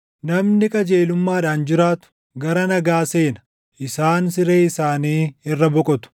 Namni qajeelummaadhaan jiraatu, gara nagaa seena; isaan siree isaanii irra boqotu.